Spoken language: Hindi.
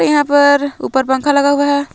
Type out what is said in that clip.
यहां पर ऊपर पंखा लगा हुआ है।